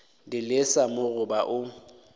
di lesa mo goba o